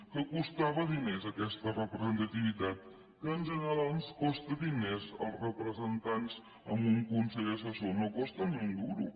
que costava diners aquesta representativitat que en general ens costen diners els representants en un consell assessor no costa ni un duro